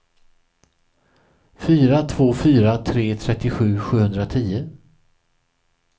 fyra två fyra tre trettiosju sjuhundratio